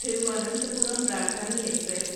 Thiruvananthapuram Rajdhani express